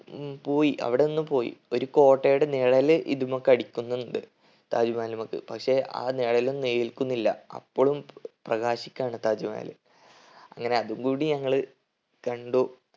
ഉം പോയി അവിടെ നിന്നും പോയി ഒരു കോട്ടയുടെ നിഴല് ഇതുമ്മക്ക് അടിക്കുന്നുണ്ട്. താജ് മഹലുമ്മക്ക് പക്ഷെ ആ നിഴലൊന്നും ഏൽക്കുന്നില്ല അപ്പളും പ്രകാശിക്കാണ് താജ് മഹൽ അങ്ങനെ അതും കൂടെ ഞങ്ങള് കണ്ടു